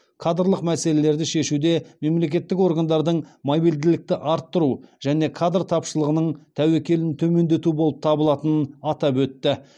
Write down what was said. кадрлық мәселелерді шешуде мемлекеттік органдардың мобильділікті арттыру және кадр тапшылығының тәуекелін төмендету болып табылатынын атап өтті